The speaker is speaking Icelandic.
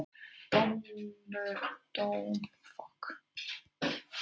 Dóminum ber að fullnægja innan